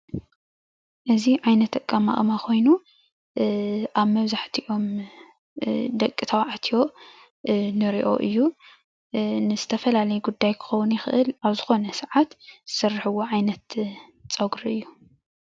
እዚ ዓይነት ኣቀማቅማ ኮይኑ ኣብ መብዛሕትኦም ደቂ ተባዕትዮ ንርኦ እዩ፣ ንዝተፈላለየ ጉዳይ ክከውን ይክእል ኣብ ዝኮነ ሰዓት ዝስርሕዎ ዓይነት ፀጉሪ እዩ፡፡